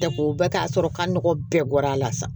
Dako bɛɛ ka sɔrɔ ka nɔgɔ bɛɛ bɔra a la sa